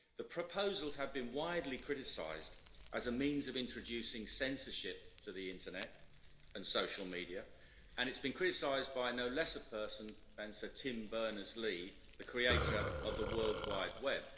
The proposals have been widely criticised as a means of introducing censorship to the internet and social media, and it has been criticised by no less a person than Sir Tim Berners Lee, the creator of the World Wide Web.